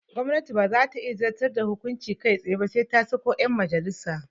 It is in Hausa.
Gwamnati baza ta zantar da hukunci kai tsaye ba sai ta sako yan majalissa